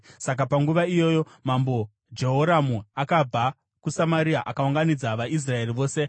Saka panguva iyoyo, Mambo Jehoramu akabva kuSamaria akaunganidza vaIsraeri vose.